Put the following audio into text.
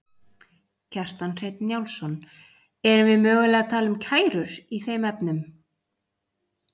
Kjartan Hreinn Njálsson: Erum við mögulega að tala um kærur í þeim efnum?